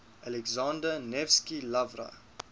alexander nevsky lavra